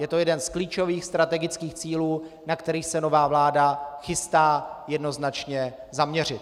Je to jeden z klíčových strategických cílů, na které se nová vláda chystá jednoznačně zaměřit.